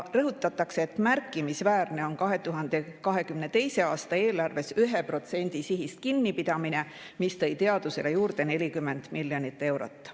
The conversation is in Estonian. Rõhutatakse, et märkimisväärne on 2022. aasta eelarves 1% sihist kinnipidamine, mis tõi teadusele juurde 40 miljonit eurot.